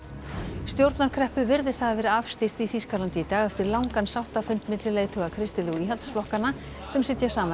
stjórnarkreppu virðist hafa verið afstýrt í Þýskalandi í dag eftir langan sáttafund milli leiðtoga kristilegu íhaldsflokkanna sem sitja saman í